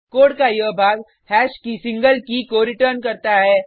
code का यह भाग हैश की सिंगल की को रिटर्न करता है